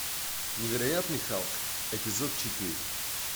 невероятный халк эпизод четыре